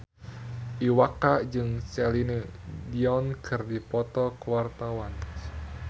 Iwa K jeung Celine Dion keur dipoto ku wartawan